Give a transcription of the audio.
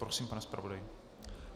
Prosím, pane zpravodaji.